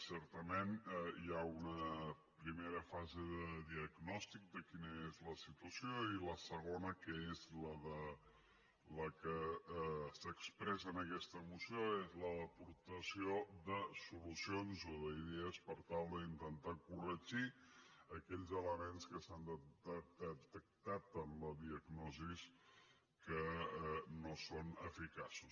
certament hi ha una primera fase de diagnòstic de quina és la situació i la segona que és la que s’expressa en aquesta moció és la d’aportació de solucions o d’idees per tal d’intentar corregir aquells elements que s’han detectat en la diagnosi que no són eficaços